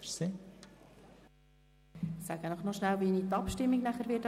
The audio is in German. Ich erkläre Ihnen kurz, wie ich anschliessend die Abstimmung durchführen werde.